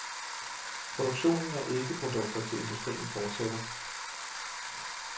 Produktionen af eddikeprodukter til industrien fortsætter.